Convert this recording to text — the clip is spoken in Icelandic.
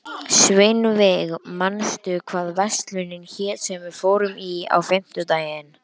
Sveinveig, manstu hvað verslunin hét sem við fórum í á fimmtudaginn?